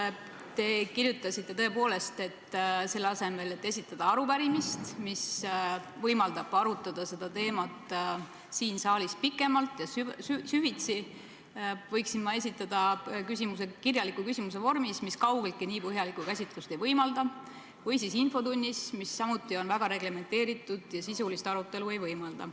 Tõepoolest, te kirjutasite, et selle asemel, et esitada arupärimine, mis võimaldab arutada seda teemat siin saalis pikemalt ja süvitsi, võiksin ma esitada küsimuse kirjaliku küsimuse vormis, mis kaugeltki nii põhjalikku käsitlust ei võimalda, või siis infotunnis, mis samuti on väga reglementeeritud ja sisulist arutelu ei võimalda.